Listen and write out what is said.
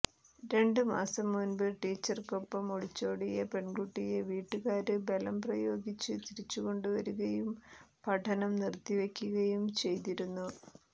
രണ്ട് മാസം മുമ്പ് ടീച്ചര്ക്കൊപ്പം ഒളിച്ചോടിയ പെണ്കുട്ടിയെ വീട്ടുകാര് ബലം പ്രയോഗിച്ച് തിരിച്ചുകൊണ്ടുവരുകയും പഠനം നിര്ത്തിവയ്ക്കുകയും ചെയ്തിരുന്നു